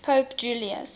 pope julius